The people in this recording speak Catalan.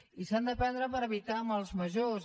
i s’han de prendre per evitar mals majors